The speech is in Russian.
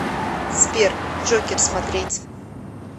сбер джокер смотреть